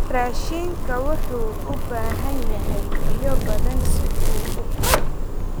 Raashinka wuxuu u baahan yahay biyo badan si uu u koro.